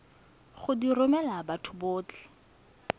go di romela batho botlhe